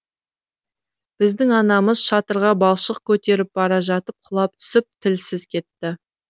біздің анамыз шатырға балшық көтеріп бара жатып құлап түсіп тілсіз кетті